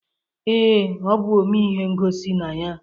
Ee, ọ bụ omee ihe ngosi na ya.